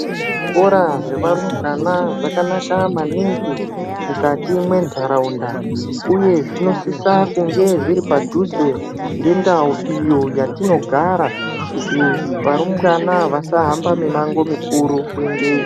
Zvikora zvevarumbwana zvakanaka maningi mukati mwenharaunda uye zvinosisa kunge zviri padhuze nendau iyo yatinogara kuti varumbwana vasahambe mimango mikuru kuendeyo.